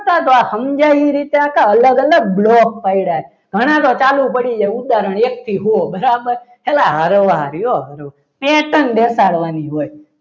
આ સમજાય એ રીતે અલગ અલગ block પાડ્યા છે ઘણા તો ચાલુ પડી જાય ઉદાહરણ એક થી હો બરાબર station બેસાડવાની હોય